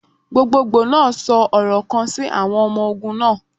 Gbogbogbo naa sọ ọrọ kan si awọn ọmọ ogun naa.